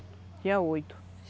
Tinha oito.